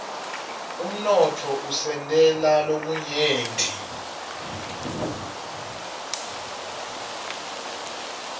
umnotfo usentela lokunyenti